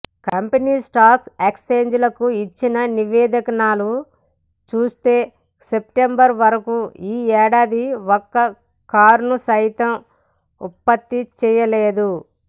company స్టాక్ఎక్ఛేంజిలకు ఇచ్చిన నివేదికనలు చూస్తే సెప్టెంబరువరకూ ఈ ఏడాది ఒక్క కారునుసైతం ఉత్పత్తిచేయలేదు